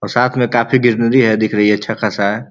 और साथ में काफी गिरनरी है दिख रही है। अच्छा खासा है।